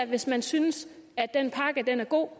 hvis man synes at den pakke er god